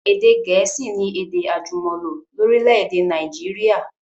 Èdè gẹ̀ẹ̀síì ni èdè àjùmọ̀lò lórílẹ̀dè Naijiria